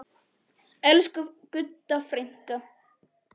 Elsku Gudda frænka.